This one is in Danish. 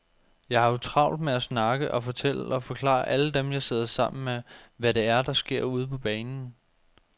Jeg har jo travlt med at snakke og fortælle og forklare alle dem, jeg sidder sammen med, hvad det er, der sker ude på banen.